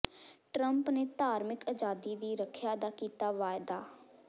Trump ਨੇ ਧਾਰਮਿਕ ਆਜ਼ਾਦੀ ਦੀ ਰੱਖਿਆ ਦਾ ਕੀਤਾ ਵਾਅਦਾ